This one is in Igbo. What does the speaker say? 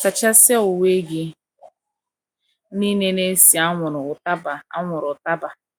Sachasịa uwe gị nile na - esi anwụrụ ụtaba anwụrụ ụtaba.